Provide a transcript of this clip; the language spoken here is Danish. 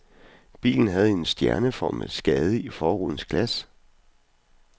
Bilen havde en stjerneformet skade i forrudens glas.